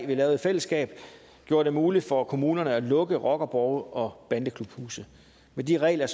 vi lavede i fællesskab gjorde det muligt for kommunerne at lukke rockerborge og bandeklubhuse med de regler